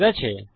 ঠিক আছে